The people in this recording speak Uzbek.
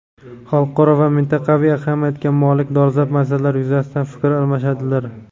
xalqaro va mintaqaviy ahamiyatga molik dolzarb masalalar yuzasidan fikr almashadilar.